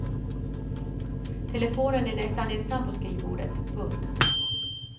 Telefonen är nästan ensam på skrivbordet. punkt